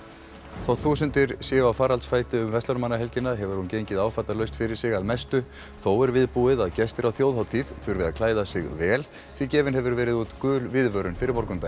þótt þúsundir séu á faraldsfæti um verslunarmannahelgina hefur hún gengið áfallalaust fyrir sig að mestu þó er viðbúið að gestir á þjóðhátíð þurfi að klæða sig vel því gefin hefur verið út gul viðvörun fyrir morgundaginn